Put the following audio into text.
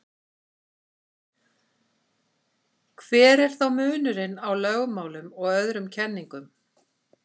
hver er þá munurinn á lögmálum og öðrum kenningum